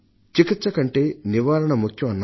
చికిత్స కంటే నివారణ ముఖ్యం అన్నారు